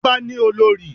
Ọba ni olórí